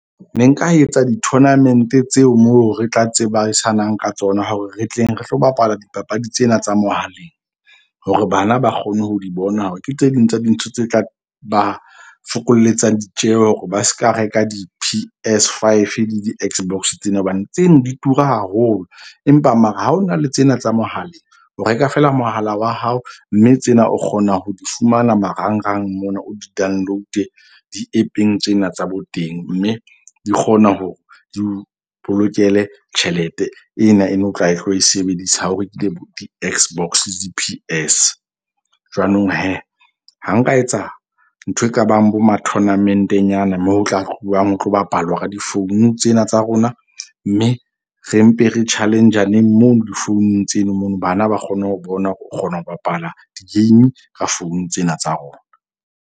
Ne nka etsa di-tournament-e tseo moo re tla tseba sanang ka tsona, hore re tleng re tlo bapala dipapadi tsena tsa mohaleng. Hore bana ba kgone ho di bona, hore ke tse ding tsa dintho tse tla ba fokoletsa ditjeho hore ba seka reka di- P_S 5 le di-X_box tsena. Hobane tseno di tura haholo. Empa mara ha ona le tsena tsa mohaleng, o reka feela mohala wa hao. Mme tsena o kgona ho di fumana marangrang mona. O di download-e di-App-eng tsena tsa bo teng. Mme di kgona hore di o bolokele tjhelete ena e ne o tla e tlo e sebedisa ha o rekile bo di-X_box le di-P_S. Jwanong ha nka etsa ntho e ka bang bo ma tournament-e nyana moo ho tla tluwang ho tlo bapalwa ka di-phone tsena tsa rona. Mme re mpe re challenge-aneng mono di-phone-ung tseno mono, bana ba kgone ho bona hore o kgona ho bapala di-game ka phone tsena tsa rona.